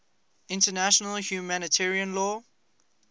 international humanitarian law